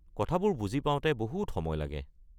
কথাবোৰ বুজি পাওঁতে বহুত সময় লাগে।